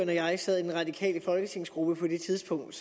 og jeg sad i den radikale folketingsgruppe på det tidspunkt